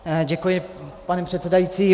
Děkuji, pane předsedající.